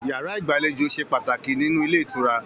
Yàrá igbalejo se pàtàkì nínú ilé ìtura.